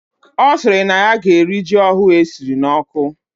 Osiri na ya gee eri ji ohu esiri na oku